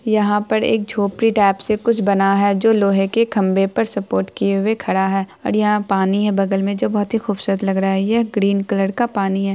यहाँ पर एक झोपडी टाई से खुच बना हैं जो लोहे के खभे पर सुपोरट किये खड़ा हैं ओर यहाँ पानी हैं बगल में जो बहुत ही खुबसूरत लग रहा हैं ये ग्रीन कलर का पानी हैं।